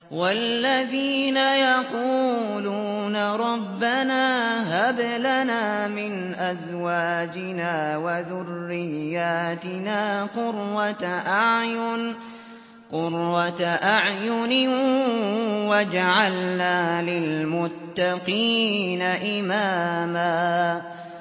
وَالَّذِينَ يَقُولُونَ رَبَّنَا هَبْ لَنَا مِنْ أَزْوَاجِنَا وَذُرِّيَّاتِنَا قُرَّةَ أَعْيُنٍ وَاجْعَلْنَا لِلْمُتَّقِينَ إِمَامًا